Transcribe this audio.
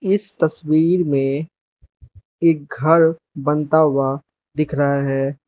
इस तस्वीर मे एक घर बनता हुआ दिख रहा है।